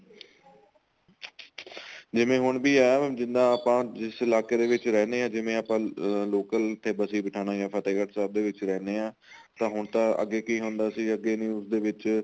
ਜਿਵੇਂ ਹੁਣ ਵੀ ਏ ਜਿੰਨਾ ਆਪਾਂ ਜਿਸ ਇਲਾਕੇ ਦੇ ਵਿੱਚ ਰਹਿੰਨੇ ਆ ਜਿਵੇਂ ਆਪਾਂ local ਤੇ ਬਸੀ ਪਠਾਣਾ ਜਾਂ ਫ਼ਤਹਿਗੜ ਸਾਹਿਬ ਦੇ ਵਿੱਚ ਰਹਿੰਦਨੇ ਆ ਤਾਂ ਹੁਣ ਤਾਂ ਅੱਗੇ ਕੀ ਹੁੰਦਾ ਸੀ ਅੱਗੇ news ਦੇ ਵਿੱਚ